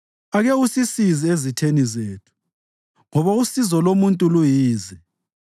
Ake usisize ezitheni zethu, ngoba usizo lomuntu luyize.